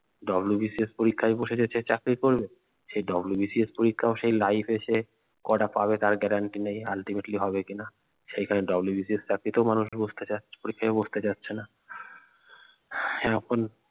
WBCS পরীক্ষায় বসে গেছে চাকরি করবে সে WBCS পরীক্ষাও সে life এ সে কটা পাবে তার guarantee নেই ultimately হবে কিনা সেইখানে WBCS চাকরিতেও মানুষ বসতে চাচ্ছে পরীক্ষায় বসতে চাচ্ছে না হম এখন